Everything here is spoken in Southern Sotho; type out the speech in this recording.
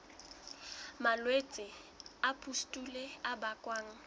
malwetse a pustule a bakwang